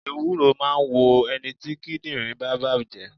Ewúro máà ń wo ẹniti kíndìnrín bá bàjé